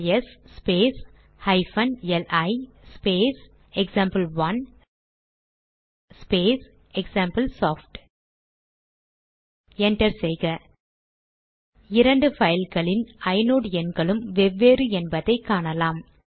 LS space hyphen L I space example one space example soft enter செய்க இரண்டு பைல்களின் inode எண்களும் வெவ்வேறு என்பதை காணலாம்